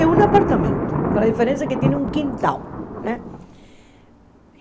É um apartamento, com a diferença que tem um quintal né.